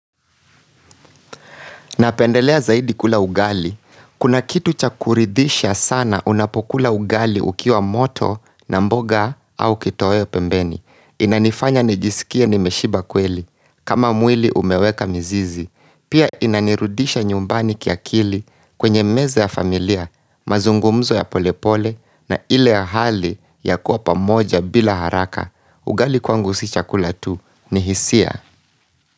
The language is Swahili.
Napendelea zaidi kula ugali. Kuna kitu cha kuridhisha sana unapokula ugali ukiwa moto na mboga au kitoweo pembeni. Inanifanya nijisikie nimeshiba kweli. Kama mwili umeweka mizizi. Pia inanirudisha nyumbani kiakili kwenye meza ya familia, mazungumzo ya polepole na ile ya hali ya kuwa pamoja bila haraka. Ugali kwangu si chakula tu, ni hisia.